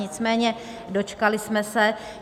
Nicméně dočkali jsme se.